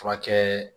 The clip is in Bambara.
Furakɛ